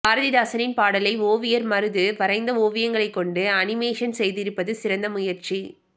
பாரதிதாசனின் பாடலை ஓவியர் மருது வரைந்த ஓவியங்களைக் கொண்டு அனிமேஷன் செய்திருப்பது சிறந்த முயற்சி